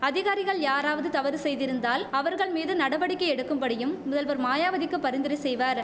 அதிகாரிகள் யாராவது தவறு செய்திருந்தால் அவர்கள் மீது நடவடிக்கை எடுக்கும்படியும் முதல்வர் மாயாவதிக்கு பரிந்துரை செய்வர்